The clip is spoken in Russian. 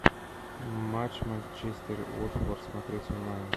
матч манчестер уотфорд смотреть онлайн